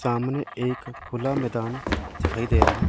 सामने एक खुला मैदान दिखाई दे रहा है।